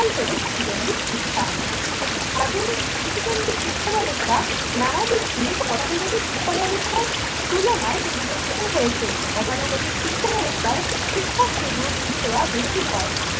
হল শিশুদের শিক্ষা। আধুনিক শিশু কেন্দ্রিক শিক্ষা ব্যবস্থা নানা দিক দিয়ে গতানুগতিক শিক্ষা ব্যবস্থার তুলনায় পরিবর্তিত হয়েছে। গতানুগতিক শিক্ষা ব্যাবস্থায় শিক্ষককে দেওয়া বেশি হয়।